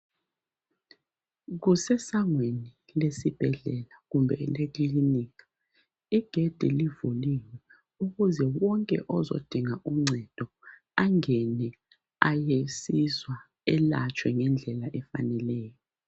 Kuse sangweni lesibhedlela kumbe ekilinika igedi livuliwe ukuze onke ozodinga uncedo angene ayesizwa ayelatshwe ngendlela efaneleyo